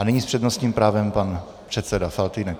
A nyní s přednostním právem pan předseda Faltýnek.